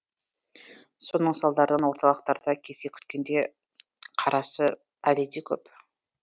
соның салдарынан орталықтарда кезек күткендер қарасы әлі де көп